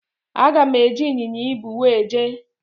Aga m eji ịnyịnya ibu wee jee.